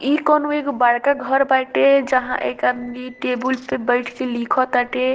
इ कोनो एगो बड़का घर बाटे जहां एक आदमी टेबुल पे बइठ के लिखो ताटे।